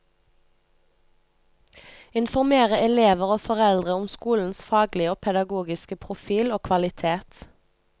Informere elever og foreldre om skolens faglige og pedagogiske profil og kvalitet.